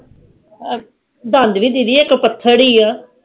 ਦੰਦ ਵੀ ਦੀਦੀ ਇਕ ਪੱਥਰ ਹੀ ਆ